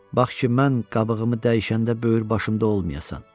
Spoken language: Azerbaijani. bax ki, mən qabığımı dəyişəndə böyür başımda olmayasan.